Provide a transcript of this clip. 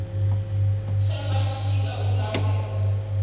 tamba tshika u nake u